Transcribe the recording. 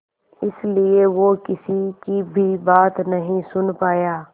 इसलिए वो किसी की भी बात नहीं सुन पाया